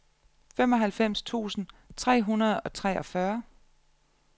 femoghalvfems tusind tre hundrede og treogfyrre